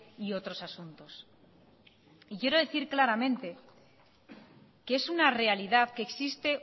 y otros asuntos y quiero decir claramente que es una realidad que existe